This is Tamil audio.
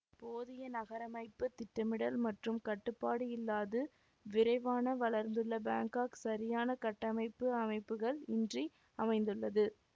போதிய நகரமைப்பு திட்டமிடல் மற்றும் கட்டுப்பாடு இல்லாது விரைவான வளர்ந்துள்ள பேங்காக் சரியான கட்டமைப்பு அமைப்புகள் இன்றி அமைந்துள்ளது